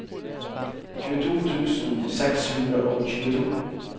tjueto tusen seks hundre og tjueto